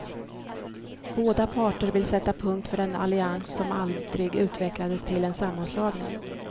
Båda parter vill sätta punkt för den allians som aldrig utvecklades till en sammanslagning.